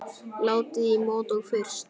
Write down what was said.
Látið í mót og fryst.